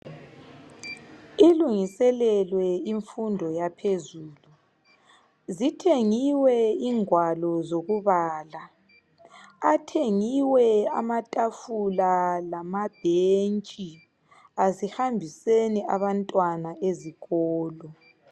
Ilungiselelwe imfundo yaphezulu zithengiwe ingwalo zokubala, athengiwe amatafula lamabhentshi, asihambiseni abantwana ezikolo.